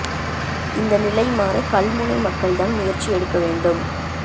இந்த நிலை மாற கல்முனை மக்கள்தான் முயற்சி எடுக்க வேண்டும்